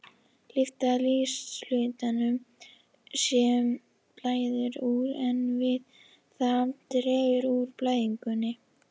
Lyfta líkamshlutanum, sem blæðir úr, en við það dregur úr blæðingunni.